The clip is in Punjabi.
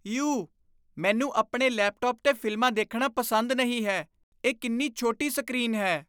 ਯੂ ਮੈਨੂੰ ਆਪਣੇ ਲੈਪਟਾਪ 'ਤੇ ਫ਼ਿਲਮਾਂ ਦੇਖਣਾ ਪਸੰਦ ਨਹੀਂ ਹੈ ਇਹ ਕਿੰਨੀ ਛੋਟੀ ਸਕਰੀਨ ਹੈ